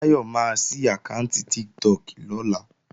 Táyọ̀ máa sí àkáànti Tiktok lọ́la